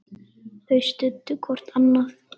Þau studdu hvort annað.